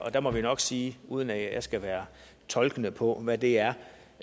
der må vi nok sige uden at jeg skal være tolkende på hvad det er